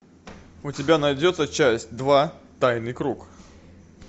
у тебя найдется часть два тайный круг